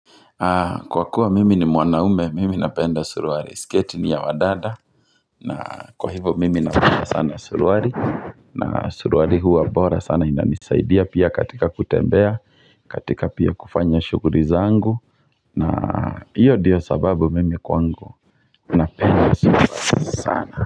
Kwa kuwa mimi ni mwanaume, mimi napenda suruali, sketi ni ya wadada na kwa hivyo mimi napenda sana suruali na suruali huwa bora sana inanisaidia pia katika kutembea, katika pia kufanya shughuli zangu na hiyo ndiyo sababu mimi kwangu napenda suruali sana.